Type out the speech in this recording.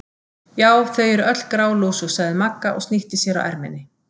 Já, þau eru öll grálúsug sagði Magga og snýtti sér á erminni.